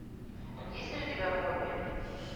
есть ли у тебя хобби